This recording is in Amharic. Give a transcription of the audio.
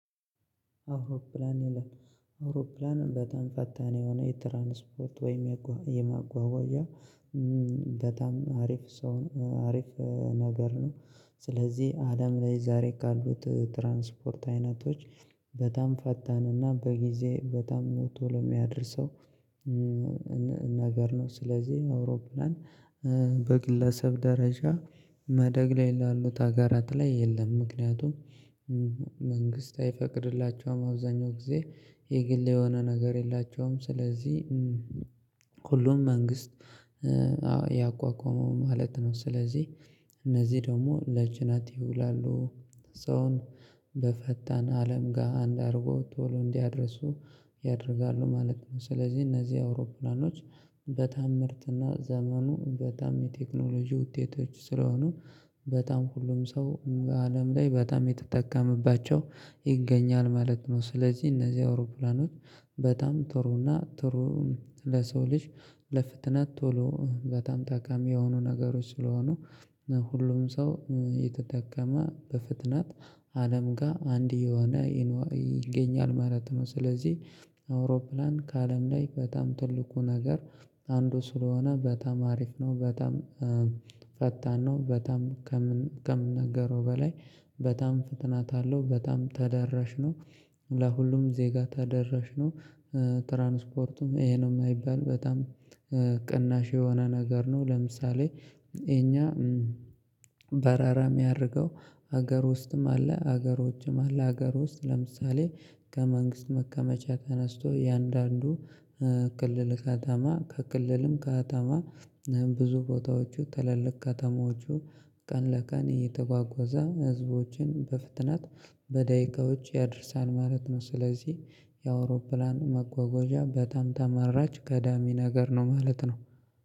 አውሮፕላን ይላል አውሮፕላንም በጣም ፈታን የሆነ የትራንስፖርት ወይም የማጓጓዣ በጣም አሪፍ አሪፍ ነገር ነው። ስለዚህ አለም ላይ ዛሬ ካሉት ትራንስፖርት አይነቶች በጣም ፈጣንና በጊዜ በጣም ቶሎ የሚያደርሰው የሚያደርሰው ነገር ነው። ስለዚህ አውሮፕላን በግለሰብ ደረጃ ማደግ ላይ ላሉት ሀገራት ላይ የለም ምክንያቱም መንግስት አይፈቅድላቸውም አብዛኛው ጊዜ የግል የሆነ ነገር የላቸውም። ስለዚህ ሁሉም መንግስት አዎ ያቋቋመው ማለት ነው። ስለዚህ እነዚህ ደግሞ ለጭነት ይውላሉ ሰውን በፈጣን አለም ጋር አንድ አድርጎ ቶሎ እንዲያደርሱ ያደርጋሉ ማለት ነው። ስለዚህ እነዚህ አውሮፕላኖች በጣም ምርጥና ዘመኑ በጣም የቴክኖሎጂ ውጤቶች ስለሆኑ በጣም ሁሉም ሰው አለም ላይ በጣም የተጠቀመባቸው ይገኛል ማለት ነው። ስለዚህ እነዚህ አውሮፕላኖች በጣም ጥሩና ጥሩ ለሰው ልጅ ለፍጥነት ቶሎ በጣም ጠቃሚ የሆኑ ነገሮች ስለሆኑ ሁሉም ሰው እየተጠቀመ በፍጥነት አለም ጋር አንድ እየሆነ ይገኛል ማለት ነው። ስለዚህ አውሮፕላን ከአለም ላይ በጣም ትልቁ ነገር አንዱ ስለሆነ በጣም አሪፍ ነው። በጣም ፈጣን ነው በጣም ከምናገረው በላይ በጣም ፍጥነት አለው በጣም ተደራሽነው ለሁሉም ዜጋ ተደራሽ ነው። ትራንስፖርቱም ይሄ ነው የማይባል በጣም ቅናሽ የሆነ ነገር ነው። ለምሳሌ እኛ በረራ የሚያደርገው ሀገር ውስጥም አለ ሀገር ውጭም አለ ሀገር ውስጥ ለምሳሌ ከመንግስት መቀመጫ ተነስቶ እያንዳንዱ ክልል ከተማ ከክልልም ከተማ ብዙ ቦታዎቹ ትልልቅ ከተማዎቹ ቀን ለቀን የተጓጓዛ ህዝቦችን በፍጥነት በደቂቃዎች ያደርሳል ማለት ነው። ስለዚህ የአውሮፕላን መጓጓዣ በጣም ተመራጭ ቀዳሚ ነገር ነው ማለት ነው